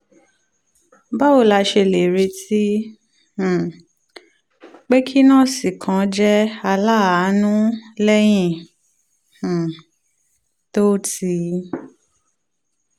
báwo la ṣe lè retí um pé kí nọ́ọ̀sì kan jẹ́ aláàánú lẹ́yìn um tó ti